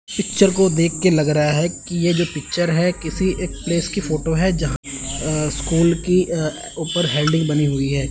Picture को देख के लग रहा है कि ये जो पिक्चर है किसी एक प्लेस की फोटो है जहां अ स्कूल की ऊपर अ हेडिंग बनी हुई है।